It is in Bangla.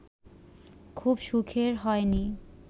খুব সুখের হয়নি